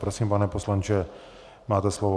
Prosím, pane poslanče, máte slovo.